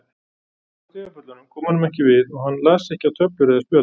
Skvaldrið á stigapöllunum kom honum ekki við og hann las ekki á töflur eða spjöld.